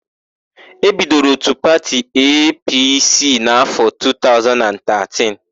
E bidoro òtù pati EePiiSii n'áfọ 2013.